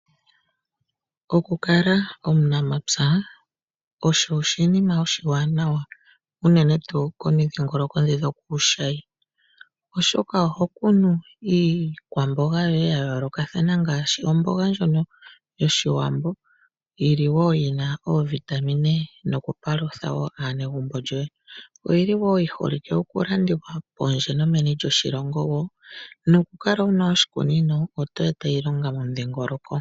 Okukala omunamapya osho oshinima oshiwanawa, unene tuu komidhingolongo ndhi dho kuushayi, oshoka oho kuna iikwamboga yoye ya yoolokathana ngaashi omboga ndjono yOshiwambo yi na oovitamine nokupalutha wo aanegumbo lyoye. Oyi li wo yi holike okulandithwa pondje nomeni lyoshilongo nokukala wu na oshikunino oto eta iilonga momudhingoloko.